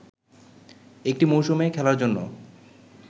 একটি মৌসুমে খেলার জন্য